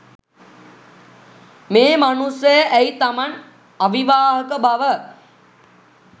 මේ මනුස්සය ඇයි තමන් අවිවාහක බව